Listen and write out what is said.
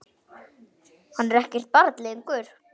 Hann er ekkert barn lengur.